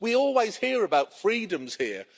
We always hear about freedoms here.